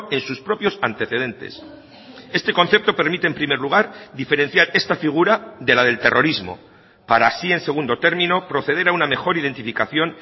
en sus propios antecedentes este concepto permite en primer lugar diferenciar esta figura de la del terrorismo para así en segundo término proceder a una mejor identificación